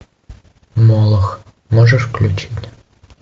молох можешь включить